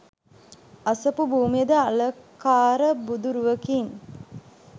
අසපු භූමියද අලකාර බුදුරුවකින්